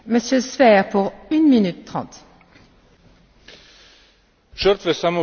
Žrtve samooklicane Islamske države v Iraku in Siriji so v prvi vrsti ljudje.